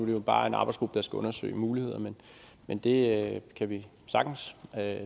jo bare en arbejdsgruppe der skal undersøge mulighederne men det kan vi sagtens